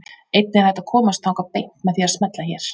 Einnig er hægt að komast þangað beint með því að smella hér.